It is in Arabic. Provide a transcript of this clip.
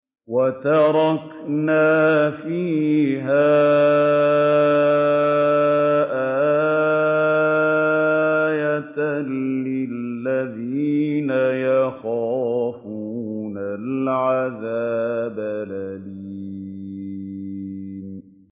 وَتَرَكْنَا فِيهَا آيَةً لِّلَّذِينَ يَخَافُونَ الْعَذَابَ الْأَلِيمَ